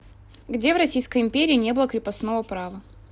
где в российской империи не было крепостного права